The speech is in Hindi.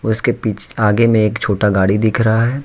उसके पीछ आगे मे एक छोटा गाड़ी दिख रहा है।